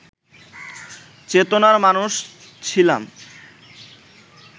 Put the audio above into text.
চেতনার মানুষ ছিলাম